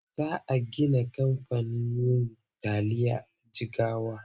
Za a gina kamfanin yin tayil a Jigawa.